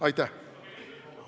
Aitäh!